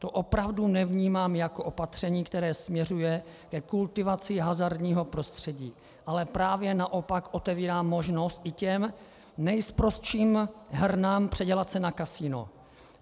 To opravdu nevnímám jako opatření, které směřuje ke kultivaci hazardního prostředí, ale právě naopak otevírá možnost i těm nejsprostším hernám předělat se na kasino.